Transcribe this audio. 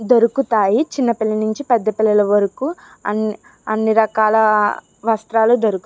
దొరుకుతాయి చిన్న పిల్లల నుంచి పెద్ద పిల్లల వరకు అన్ అన్ని రకాల వస్త్రాలు దొరుక --